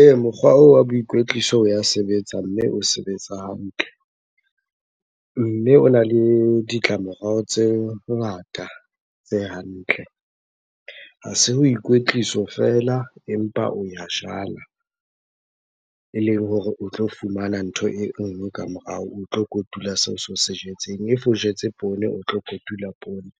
Ee, mokgwa oo wa boikwetliso o ya sebetsa, mme o sebetsa hantle. Mme ona le ditlamorao tse ngata, tse hantle. Ha se boikwetliso fela empa o ya jala. Eleng hore o tlo fumana ntho e nngwe ka morao, o tlo kotula seo se o se jetseng. If o jetse poone, o tlo kotula poone.